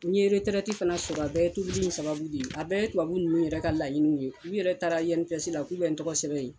N ye fana sɔrɔ a bɛɛ tobili in sababu de a bɛɛ tubabu ninnu yɛrɛ ka laɲini ye u yɛrɛ taara INPS la k'u bɛ n tɔgɔ sɛbɛn yen